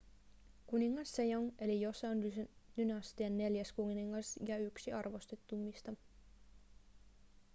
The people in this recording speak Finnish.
kuningas sejong oli joseon-dynastian neljäs kuningas ja yksi arvostetuimmista